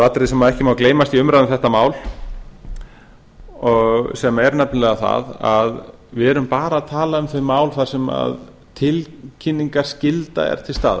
atriði sem ekki má gleymast í umræðum um þetta mál sem er nefnilega það að við erum að tala um þau mál þar sem tilkynningarskylda er til staðar